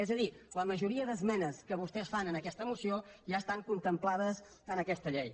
és a dir la majoria d’esmenes que vostès fan en aquesta moció ja estan contemplades en aquesta llei